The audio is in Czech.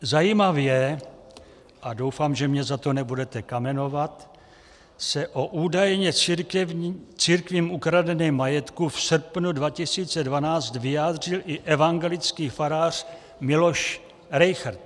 Zajímavě, a doufám, že mě za to nebudete kamenovat, se o údajně církvím ukradeném majetku v srpnu 2012 vyjádřil i evangelický farář Miloš Rejchrt.